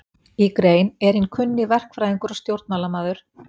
Í grein, er hinn kunni verkfræðingur og stjórnmálamaður